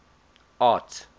art